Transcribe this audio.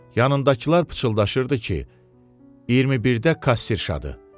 Yanındakılar pıçıldaşırdı ki, 21-də kasserşadır.